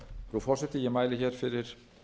virðulegi forseti ég mæli fyrir